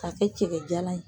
K'a kɛ cɛjalan ye.